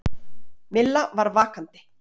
Milla var vakandi.